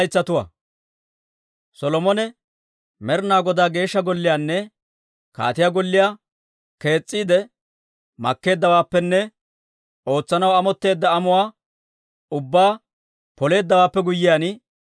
Solomone Med'inaa Godaa Geeshsha Golliyaanne kaatiyaa golliyaa kees's'iide makkeeddawaappenne ootsanaw amotteedda amuwaa ubbaa Poleeddawaappe guyyiyaan,